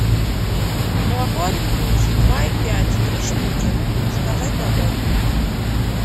молоко оренбуржье два и пять три штуки заказать домой